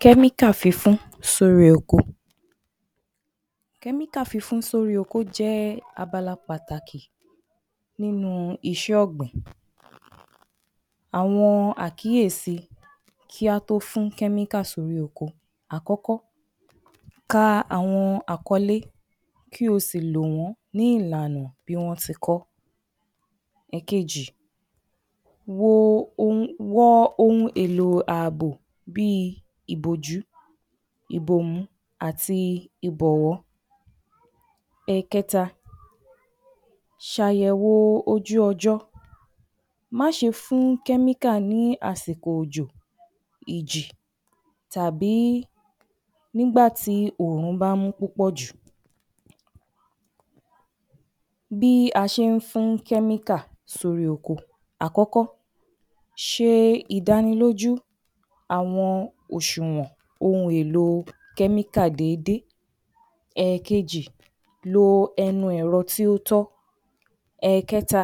﻿KẸ́MÍKÀ FÍNFÍN SÓRÍ OKO Kẹ́míkà fínfín sórí oko jẹ́ abala pàtàkì nínú iṣẹ́ ọ̀gbìn. Àwọn Àkíyèsí Kí Á Tóó Fín Kẹ́míkà Sórí Oko Àkọ́kọ́, ka àwọn àkọlé, kí ó sì lò wọ́n ní ìbámu pẹ̀lú ìlàná gẹ́gẹ́ bí wọ́n ṣe kọ ọ́. Ẹ̀kejì, bwọ ohun èèlò ààbò bíi ìbòjú, ìbòmú àti ìbọ̀wọ́. Ẹ̀kẹ́ta, ṣàyẹ̀wò ojú ọjọ́. Má ṣe fín kẹ́míkà ní àsìkò òjò, ìjì, tàbí nígbà tí òòrùn bá mú púpọ̀ jù. Bí a Ṣe ń Fín Kẹ́míkà Sórí Oko Àkọ́kọ́, ṣe ìdánilójú àwọn oṣùnwọ̀n ohun èèlò kẹ́míkà déédé. Èkejì, lo ẹnu ẹ̀rọ tí ó tọ́. Ẹ̀ẹ̀kẹta,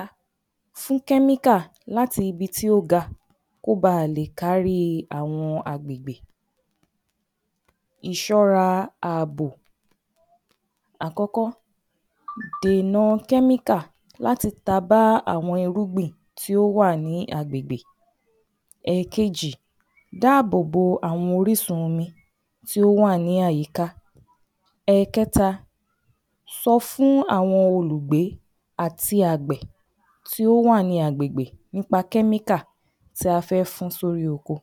fín kẹ́míkà láti ibi tí ó ga, kí ó baà lè kári àwọn ohun ọ̀gbìn. Ìṣọ́ra Ààbò Àkọ́kọ́, dénà kẹ́míkà láti tà bá àwọn irúgbìn tí ó wà ní agbègbè. Ẹ̀ẹ̀kejì, dáàbò bo gbogbo àwọn orísun omi tí ó wà ní àyíká. Ẹ̀kẹta, sọ fún àwọn olùgbé tí ó wà ní agbègbè nípa kẹ́míkà tí a fi fín sórí oko.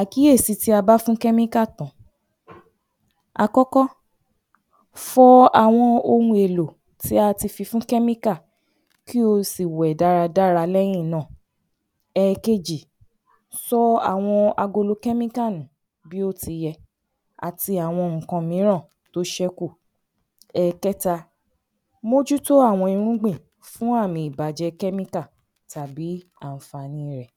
Àkíyèsí tí A Bá Fín Kẹ́míkà Tán Àkọ́kọ́, fọ àwọn ohun èèlò tí a ti fi fín kẹ́míkà, kí o sì wẹ̀. Ẹ̀ẹ̀kejì, sọ àwọn agolo tàbí ike kẹ́míkà nù bí ó ti yẹ, àti àwọn nǹkan mìíràn tó ṣẹ́kù. Ẹ̀ẹ̀kẹ́ta, mójútó àwọn irúgbìn fún àmì ìbàjẹ́ kẹ́míkà tàbí àǹfààní rẹ̀.